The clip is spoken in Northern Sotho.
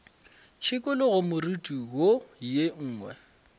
šikologe moriti wo ye nngwe